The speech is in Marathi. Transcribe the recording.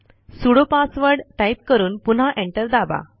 सुडो पासवर्ड टाईप करून पुन्हा एंटर दाबा